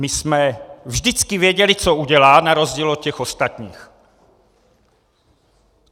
My jsme vždycky věděli, co udělá, na rozdíl od těch ostatních.